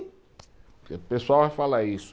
O pessoal vai falar isso.